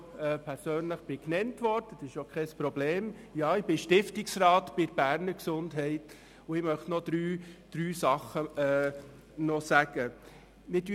Ja, ich bin Stiftungsrat bei der Beges und möchte mich noch zu drei Aspekten äussern.